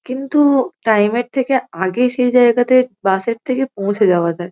কিন্তু-উ time -এর থেকে আগে সেই জায়গাতে বাস -এর থেকে পৌঁছে যাওয়া যায়।